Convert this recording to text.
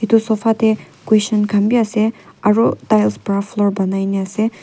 eto sofa teh cushion kan beh ase aro tiles para floor ponaina ase .